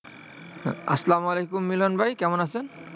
আসসালামু আলাইকুম মিলন ভাই, কেমন আছেন?